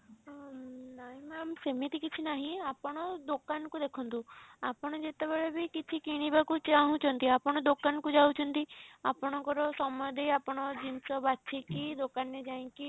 ଅ ନାଇଁ ma'am ସେମିତି କିଛି ନାହିଁ ଆପଣ ଦୋକାନ କୁ ଦେଖନ୍ତୁ ଆପଣ ଯେତେବେଳେ ବି କିଛି କିଣିବାକୁ ଚାହୁଁଛନ୍ତି ଆପଣ ଦୋକାନ କୁ ଯାଉଛନ୍ତି ଆପଣଙ୍କର ସମୟ ଦେଇ ଆପଣଙ୍କ ଜିନିଷ ବାଛିକି ଦୋକାନ ରେ ଯାଇକି